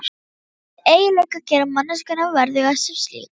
Þessir eiginleikar gera manneskjuna verðuga sem slíka.